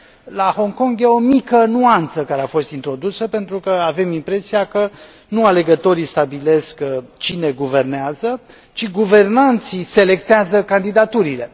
La Hong Kong este o mică nuanță care a fost introdusă, pentru că avem impresia că nu alegătorii stabilesc cine guvernează, ci guvernanții selectează candidaturile.